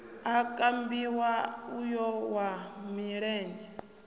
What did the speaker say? o kambiwa uyo wa milenzhe